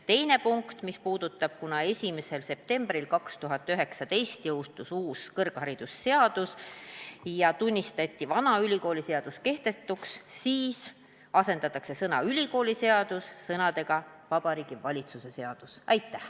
Teine punkt on see, et kuna 1. septembril 2019 jõustus uus kõrgharidusseadus ja vana ülikooliseadus tunnistati kehtetuks, siis asendatakse sõna "ülikooliseadus" sõnadega "Vabariigi Valitsuse seadus".